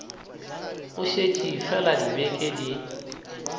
go šetše fela dibeke di